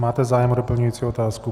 Máte zájem o doplňující dotaz?